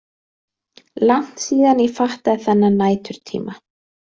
Langt síðan ég fattaði þennan næturtíma.